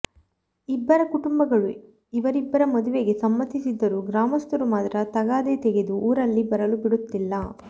ಇಬ್ಬರ ಕುಟುಂಬಗಳು ಇವರಿಬ್ಬರ ಮದುವೆಗೆ ಸಮ್ಮತಿಸಿದರೂ ಗ್ರಾಮಸ್ಥರು ಮಾತ್ರ ತಗಾದೆ ತೆಗೆದು ಊರಲ್ಲಿ ಬರಲು ಬಿಡುತ್ತಿಲ್ಲ